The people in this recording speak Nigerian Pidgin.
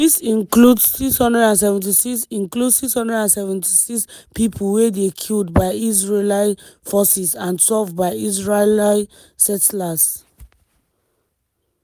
dis include 676 include 676 pipo wey dey killed by israeli forces and twelve by israeli settlers.